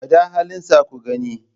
Gwada halinsa ku gani.